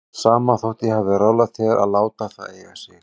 Sama þótt ég hafi ráðlagt þér að láta það eiga sig.